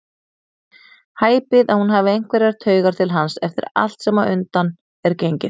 Hæpið að hún hafi einhverjar taugar til hans eftir allt sem á undan er gengið.